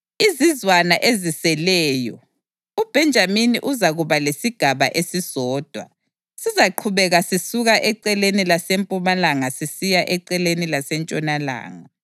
Izizwana eziseleyo: UBhenjamini uzakuba lesigaba esisodwa; sizaqhubeka sisukela eceleni lasempumalanga sisiya eceleni lasentshonalanga.